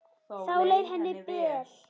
Þá leið henni vel.